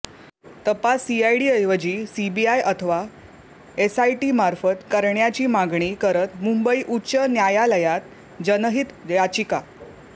तपास सीआयडीऐवजी सीबीआय अथवा एसआयटीमार्फत करण्याची मागणी करत मुंबई उच्च न्यायालयात जनहित याचिका